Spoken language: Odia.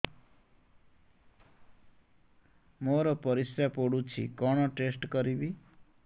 ମୋର ପରିସ୍ରା ପୋଡୁଛି କଣ ଟେଷ୍ଟ କରିବି